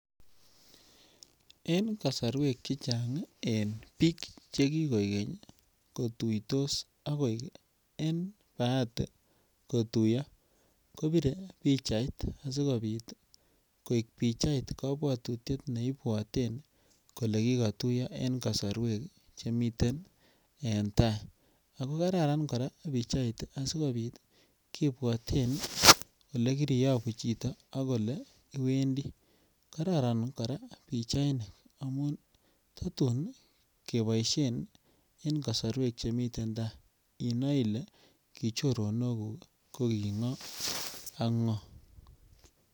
En kosorwek chechang en biik chekikoikeny kotuitos akoik en baati kotuyo kopire pichait asikobit koik Pichait kobwotutiet neibwoten kolee kokoruryo en kosorwek chemiten en taai ak ko kararan kora pichait asikobit kibwoten olekiriyobu chito ak oleiwendi, karoron kora pichainik amun totun keboishen en kosorwek chemiten taai inoee ilee kichoronokuk ko king'o ak ng'o.